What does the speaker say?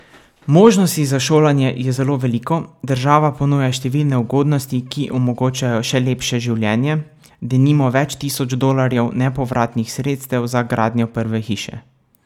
Možnosti za šolanje je zelo veliko, država ponuja številne ugodnosti, ki omogočajo še lepše življenje, denimo več tisoč dolarjev nepovratnih sredstev za gradnjo prve hiše.